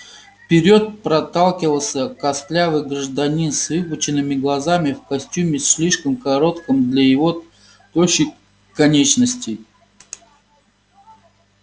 вперёд проталкивался костлявый гражданин с выпученными глазами в костюме слишком коротком для его тощих конечностей